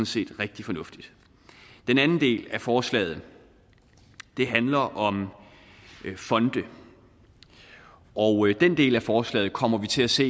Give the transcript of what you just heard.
set rigtig fornuftigt den anden del af forslaget handler om fonde og den del af forslaget kommer vi til at se